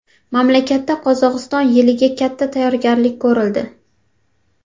Mamlakatda Qozog‘iston yiliga katta tayyorgarlik ko‘rildi.